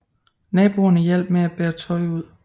Naboerne hjalp med bære tøj ud